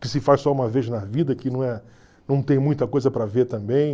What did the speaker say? que se faz só uma vez na vida, que não é não tem muita coisa para ver também.